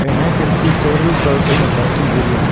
and i can see several cars in the parking area.